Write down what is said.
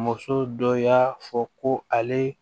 Muso dɔ y'a fɔ ko ale